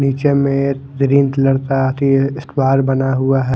नीचे में एक ग्रीन कलर का स्क्वायर बना हुआ है।